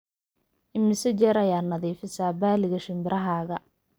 imise jeer ayaa nadiifisaa balliga shinbirahaaga